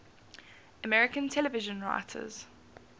american television writers